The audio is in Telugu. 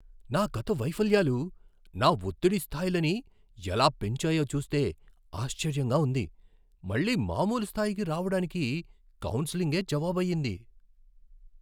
నా గత వైఫల్యాలు నా ఒత్తిడి స్థాయిలని ఎలా పెంచాయో చూస్తే ఆశ్చర్యంగా ఉంది. మళ్ళీ మామూలు స్థాయికి రావడానికి కౌన్సెలింగే జవాబయ్యింది.